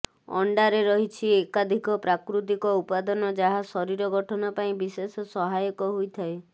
ଅଣ୍ଡାରେ ରହିଛି ଏକାଧିକ ପ୍ରାକୃତିକ ଉପାଦାନ ଯାହା ଶରୀର ଗଠନ ପାଇଁ ବିଶେଷ ସହାୟକ ହୋଇଥାଏ